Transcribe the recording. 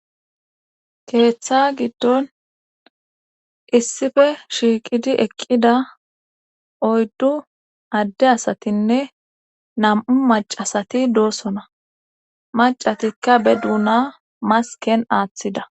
keeththa giddon issife shiiqidi eqqida oyddu adde asatinne nam7u macasati doosona macatikka be duuna masken aaththida